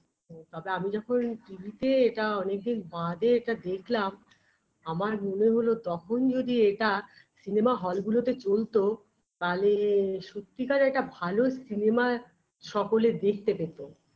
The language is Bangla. তবে আমি যখন TV -তে এটা অনেক দিন বাদে এটা দেখলাম আমার মনে হল তখন যদি এটা cinema hall -গুলোতে চলতো তাহলে সত্যিকারে একটা ভালো cinema সকলে দেখতে পেতো